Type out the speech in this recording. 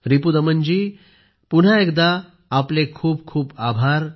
रिपुदमनजी पुन्हा एकदा आपले खूप खूप आभार